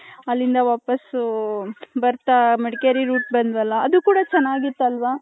ಅಲಿಂದ ವಾಪಸು ಬರ್ತಾ ಮಡಕೇರಿ route ಬಂದ್ರಲ್ಲ ಅದು ಕೂಡ ಚೆನ್ನಗಿತು ಅಲ್ವ .